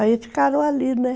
Aí ficaram ali, né?